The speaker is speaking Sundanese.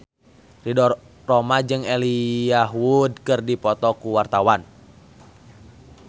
Ridho Roma jeung Elijah Wood keur dipoto ku wartawan